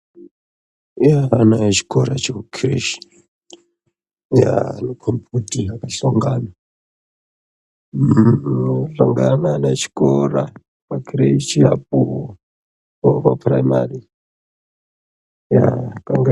Kune ana echikora chekukireshi yaa anokombe kuti akahlongana. Uuu anohlangana ana echikora pakireshi apo nevapapuraimari haa kanga.